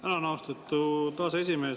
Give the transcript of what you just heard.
Tänan, austatud aseesimees!